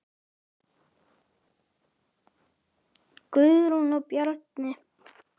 Guðrún og Bjarni.